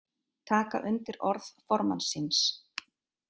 Taka undir orð formanns síns